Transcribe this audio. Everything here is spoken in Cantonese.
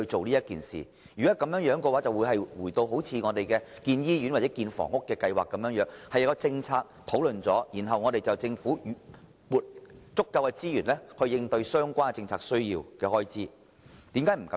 如果是這樣的話，我們便可以像興建醫院或房屋的計劃一樣進行討論，然後由政府撥出足夠的資源應付有關政策的所需開支。